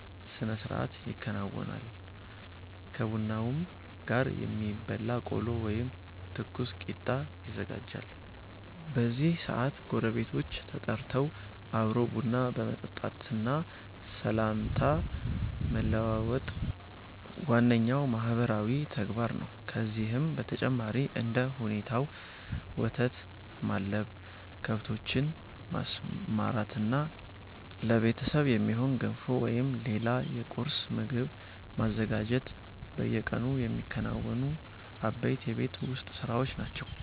ስነስርዓት ያከናውናሉ። ከቡናውም ጋር የሚበላ ቆሎ ወይም ትኩስ ቂጣ ይዘጋጃል። በዚህ ሰዓት ጎረቤቶች ተጠርተው አብሮ ቡና መጠጣትና ሰላምታ መለዋወጥ ዋነኛው ማህበራዊ ተግባር ነው። ከዚህም በተጨማሪ እንደ ሁኔታው ወተት ማለብ፣ ከብቶችን ማሰማራትና ለቤተሰብ የሚሆን ገንፎ ወይም ሌላ የቁርስ ምግብ ማዘጋጀት በየቀኑ የሚከናወኑ አበይት የቤት ውስጥ ስራዎች ናቸው።